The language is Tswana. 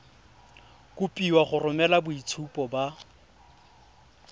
kopiwa go romela boitshupo ba